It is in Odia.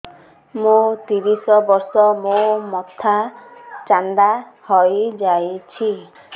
ମୋ ତିରିଶ ବର୍ଷ ମୋ ମୋଥା ଚାନ୍ଦା ହଇଯାଇଛି